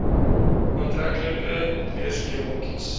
aantreklike kleurskema kies